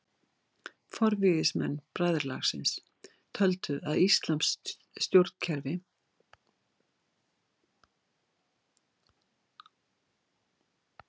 Forvígismenn bræðralagsins töldu að íslamskt stjórnkerfi væri öðru vísi og æðra en veraldleg stjórnkerfi Vesturlanda.